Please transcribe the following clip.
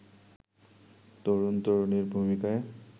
তরুণ-তরুণীর ভূমিকায়